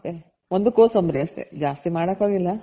ಮತ್ತೆ ಒಂದು ಕೊಸಂಬ್ರಿ ಅಷ್ಟೆ ಜಾಸ್ತಿ ಮಾಡಕ್ ಹೋಗಿಲ್ಲ.